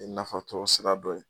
I nafatɔrɔ sira dɔ ye